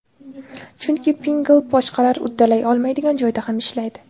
Chunki Pinngle boshqalar uddalay olmaydigan joyda ham ishlaydi!